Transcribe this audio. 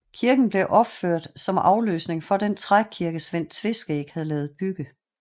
Kirken blev opført som afløsning for den trækirke Svend Tveskæg havde ladet bygge